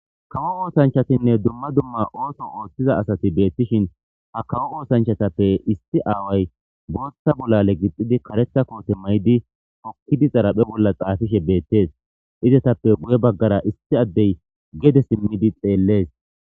kawo oosanchatinne dumma dumma ooso ooththiza asati beettishin ha kawo oosanchatappe isti aaway booththa bolale gixxidi karetha koote may7idi pokkidi zaraphe bolla xaafishe beettes izetappe guye baggara isti addey gede simmidi xeellees